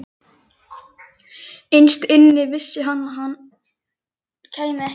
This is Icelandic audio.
Innst inni vissi hann að hann kæmi ekki aftur í